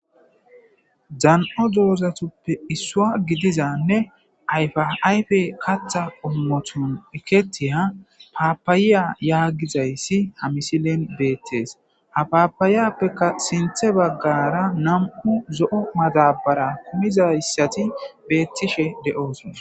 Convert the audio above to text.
Dan'o doozatuppe issua gidizanne ayfaayfe katha ommothon eketiya paapayiya yaagizayssi ha misilen beettees ha paapayiyappeka sinthe baggara nam'u zo'o matabara kumizayssati beettishe de'ooso